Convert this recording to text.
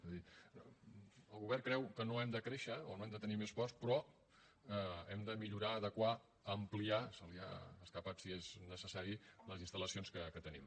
és a dir el govern creu que no hem de créixer o no hem de tenir més ports però hem de millorar adequar ampliar se li ha escapat si és necessari les instal·lacions que tenim